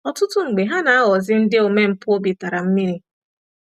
Ọtụtụ mgbe ha na- aghọzi ndị omempụ obi tara mmiri.